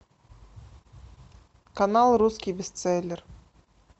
канал русский бестселлер